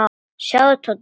Sjáðu, Tóti.